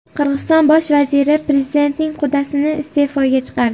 Qirg‘iziston bosh vaziri prezidentning qudasini iste’foga chiqardi.